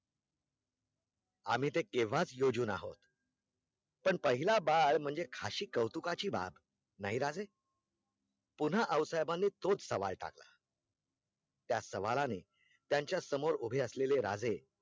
आम्ही ते केव्हाच योजून आहोत पण पहीला बाळ म्हणजे अशी कौतुकाची बाब, नहीं राजे पुन्हा आओसाहेबांनी तोच सवाल टाकला त्या सवालाने त्यांचा समोर उभे असलेले राजे